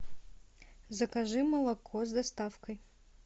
закажи молоко с доставкой